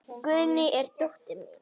Guðný er dóttir mín.